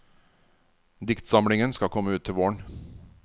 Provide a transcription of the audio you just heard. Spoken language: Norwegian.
Diktsamlingen skal komme ut til våren.